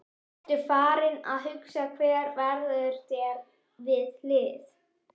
Ertu farinn að hugsa hver verður þér við hlið?